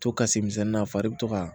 To ka se misɛnnin na a fari bɛ to ka